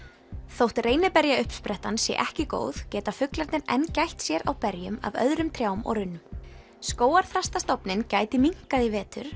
þótt sé ekki góð geta fuglarnir enn gætt sér á berjum af öðrum trjám og runnum gæti minnkað í vetur